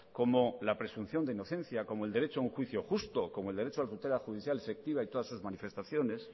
como la presunción de inocencia como el derecho a un juicio justo como el derecho a la tutela judicial efectiva y todas sus manifestaciones